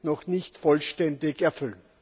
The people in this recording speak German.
noch nicht vollständig erfüllen.